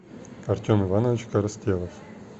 артем иванович коростелов